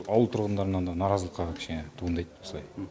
ауыл тұрғындарынан да наразылық қана кішкене туындайды осылай